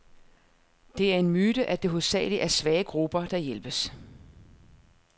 Det er en myte, at det hovedsageligt er svage grupper, der hjælpes.